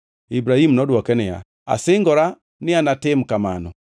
Ibrahim nodwoke niya, “Asingora ni anatim kamano.”